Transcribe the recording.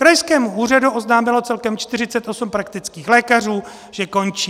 Krajskému úřadu oznámilo celkem 48 praktických lékařů, že končí.